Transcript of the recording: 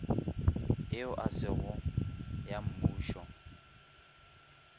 yeo e sego ya mmušo